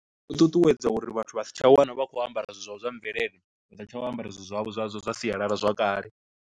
U ṱuṱuwedza uri vhathu vha si tsha wana vha khou ambara zwithu zwavho zwa mvelele, vha sa tsha vha ambara zwithu zwavho zwa zwa sialala zwakale.